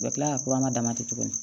U bɛ tila ka damatɛ tugun